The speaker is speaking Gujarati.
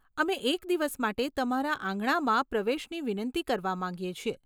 અમે એક દિવસ માટે તમારા આંગણામાં પ્રવેશની વિનંતી કરવા માંગીએ છીએ.